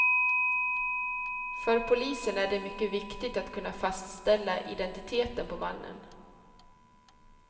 För polisen är det mycket viktigt att kunna fastställa identiteten på mannen.